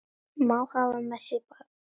Má hafa með sér barn.